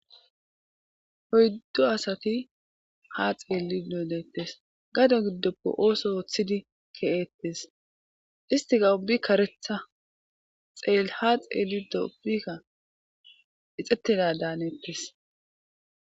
oyddo asati ha xeelli doodettes gado giddoppe ooso ooththidi ke7eettes istiga ubbi karetha xeele ha xeelli do ubbikka ixxetteda daanettes